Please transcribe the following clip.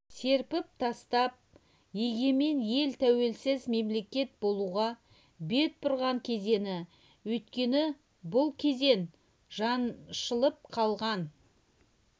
серпіп тастап егемен ел тәуелсіз мемлекет болуға бет бұрған кезеңі өйткені бұл кезең жаншылып қалған